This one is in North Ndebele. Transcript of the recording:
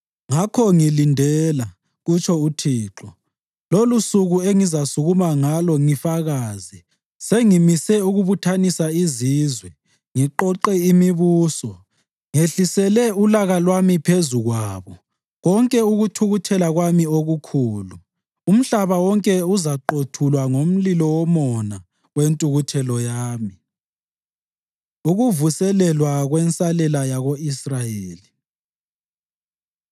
Ngakho ngilindela,” kutsho uThixo, “lolusuku engizasukuma ngalo ngifakaze. Sengimise ukubuthanisa izizwe, ngiqoqe imibuso, ngehlisele ulaka lwami phezu kwabo konke ukuthukuthela kwami okukhulu. Umhlaba wonke uzaqothulwa ngomlilo womona wentukuthelo yami.” Ukuvuselelwa Kwensalela Yako-Israyeli